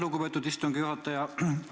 Lugupeetud istungi juhataja!